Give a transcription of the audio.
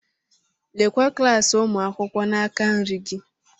Lekwa klaasị ụmụ akwụkwọ n'aka nri gị.